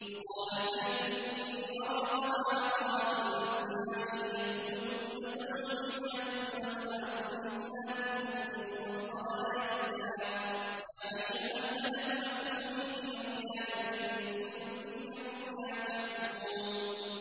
وَقَالَ الْمَلِكُ إِنِّي أَرَىٰ سَبْعَ بَقَرَاتٍ سِمَانٍ يَأْكُلُهُنَّ سَبْعٌ عِجَافٌ وَسَبْعَ سُنبُلَاتٍ خُضْرٍ وَأُخَرَ يَابِسَاتٍ ۖ يَا أَيُّهَا الْمَلَأُ أَفْتُونِي فِي رُؤْيَايَ إِن كُنتُمْ لِلرُّؤْيَا تَعْبُرُونَ